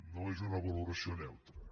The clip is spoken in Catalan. no és una valoració neutra